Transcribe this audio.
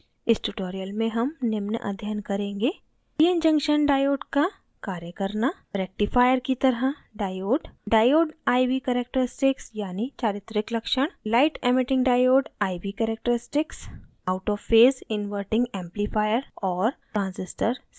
इस tutorial में हम निम्न अध्ययन करेंगे: